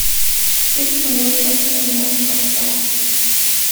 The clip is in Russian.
фильм моя ужасная няня поставь